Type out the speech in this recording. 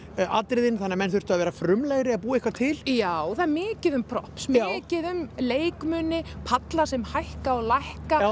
atriðin þannig að menn þurftu að vera frumlegri að búa eitthvað til já það er mikið um props mikið um leikmuni palla sem hækka og lækka